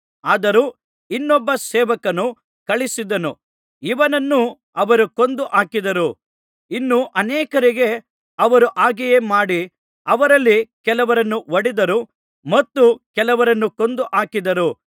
ಆದರೂ ಇನ್ನೊಬ್ಬ ಸೇವಕನನ್ನು ಕಳುಹಿಸಿದನು ಇವನನ್ನು ಅವರು ಕೊಂದು ಹಾಕಿದರು ಇನ್ನೂ ಅನೇಕರಿಗೆ ಅವರು ಹಾಗೆಯೇ ಮಾಡಿ ಅವರಲ್ಲಿ ಕೆಲವರನ್ನು ಹೊಡೆದರು ಮತ್ತು ಕೆಲವರನ್ನು ಕೊಂದು ಹಾಕಿದರು